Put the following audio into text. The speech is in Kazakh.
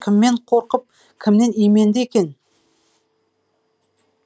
кіммен қорқып кімнен именді екен